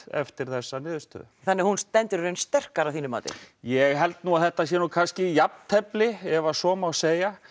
eftir þessa niðurstöðu þannig hún stendur í raun sterkari að þínu mati ég held nú að þetta sé kannski jafntefli ef svo má segja